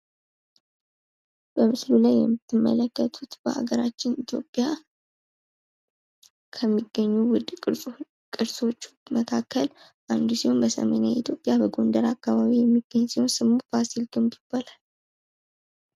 የተለያዩ ባህሎች የራሳቸው የሆነ ልዩ የጥበብ አገላለጽ ዘይቤ ያላቸው ሲሆን ይህም የዓለምን የባህል ብዝሃነት ያሳያል።